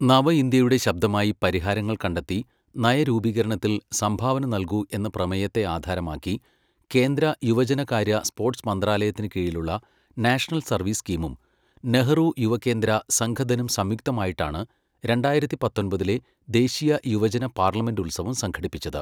നവ ഇന്ത്യയുടെ ശബ്ദമായി പരിഹാരങ്ങൾ കണ്ടെത്തി നയരൂപീകരണത്തിൽ സംഭാവന നല്കൂ എന്ന പ്രമേയത്തെ ആധാരമാക്കി കേന്ദ്ര യുവജനകാര്യ സ്പോര്ട്സ് മന്ത്രാലയത്തിന് കീഴിലുള്ള നാഷണൽ സർവീസ് സ്ക്കീമും, നെഹ്റു യുവകേന്ദ്ര സംഘഥനും സംയുക്തമായിട്ടാണ് രണ്ടായിരത്തി പത്തൊൻപതിലെ ദേശീയ യുവജന പാർലമെന്റ് ഉത്സവം സംഘടിപ്പിച്ചത്.